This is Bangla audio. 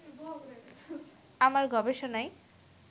আমার গবেষণাই